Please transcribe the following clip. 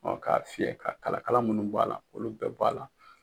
ka fiyɛ ka kalakala minnu b'a la k'olu bɛɛ bɔ a la.